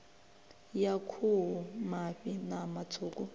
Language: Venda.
ya khuhu mafhi ṋama tswuku